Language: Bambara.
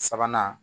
Sabanan